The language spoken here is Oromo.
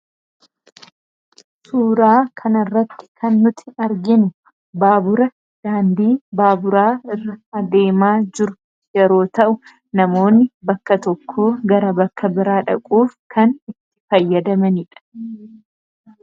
suuraa kan irratti kan nuti arginu baabura daandii baaburaa irra adeemaa jiru yeroo ta'u namoonni bakka tokko gara bakka biraa dhaquuf kan itti fayyadamaniidha